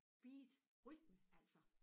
Beat rytme altså